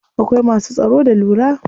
Akwai masu tsaro da lura.